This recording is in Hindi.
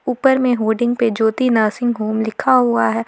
ऊपर में होर्डिंग पे ज्योति नर्सिंग होम लिखा हुआ है।